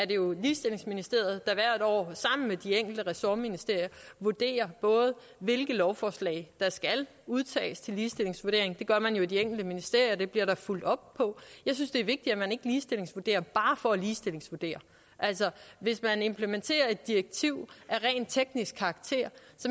jo ligestillingsministeriet der hvert år sammen med de enkelte ressortministerier vurderer hvilke lovforslag der skal udtages til ligestillingsvurdering det gør man i de enkelte ministerier og det bliver der fulgt op på jeg synes det er vigtigt at man ikke ligestillingsvurderer bare for at ligestillingsvurdere altså hvis man implementerer et direktiv af rent teknisk karakter